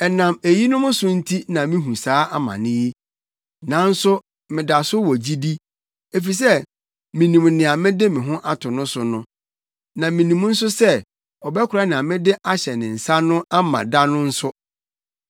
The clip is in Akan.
Ɛnam eyinom so nti na mihu saa amane yi. Nanso meda so wɔ gyidi, efisɛ minim nea mede me ho to no so no, na minim nso sɛ ɔbɛkora nea mede ahyɛ ne nsa no ama da no nso.